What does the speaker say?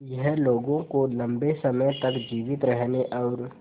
यह लोगों को लंबे समय तक जीवित रहने और